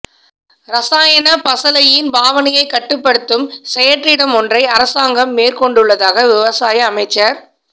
இரசாயன பசளையின் பாவனையை கட்டுப்படுத்தும் செயற்றிட்டமொன்றை அரசாங்கம் மேற்கொண்டுள்ளதாக விவசாய அமைச்சர்